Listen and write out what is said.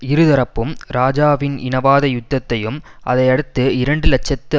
இரு தரப்பும் இராஜாவின் இனவாத யுத்தத்தையும் அதை அடுத்து இரண்டு இலட்சத்தி